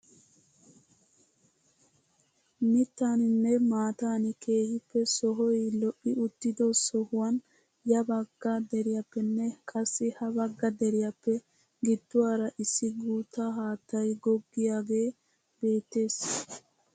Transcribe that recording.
Mittaaninne maatan keehippe sohoy lo"i uttido sohuwaan ya bagga deriyappenne qassi ha bagga deriyaappe gidduwaara issi guutta haattay googgiyaage beettees!